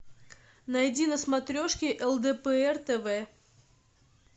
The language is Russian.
найди на смотрешке лдпр тв